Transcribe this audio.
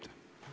Aeg!